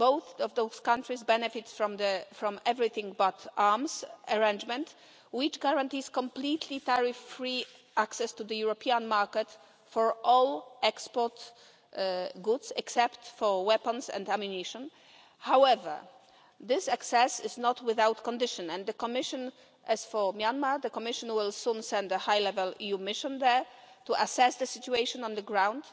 Both of those countries benefit from the Everything But Arms arrangement, which guarantees completely tariff-free access to the European market for all export goods except for weapons and ammunition. However, this access is not without conditions, and in the case of Myanmar, the Commission will soon send a high level EU mission there to assess the situation on the ground.